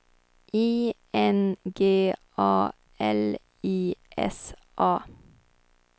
I N G A L I S A